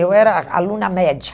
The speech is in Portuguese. Eu era aluna média.